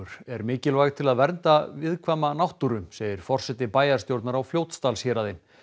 er mikilvæg til að vernda viðkvæma náttúru segir forseti bæjarstjórnar á Fljótsdalshéraði